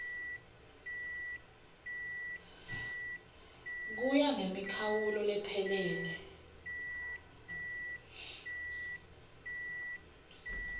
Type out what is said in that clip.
kuya ngemikhawulo lephelele